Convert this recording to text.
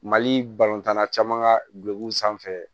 Mali balontan na caman ka gulokiw sanfɛ